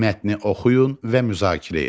Mətni oxuyun və müzakirə edin.